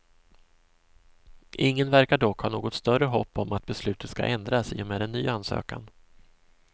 Ingen verkar dock ha något större hopp om att beslutet ska ändras i och med en ny ansökan.